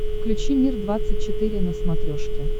включи мир двадцать четыре на смотрешке